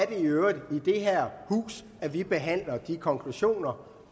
i øvrigt i det her hus at vi behandler de konklusioner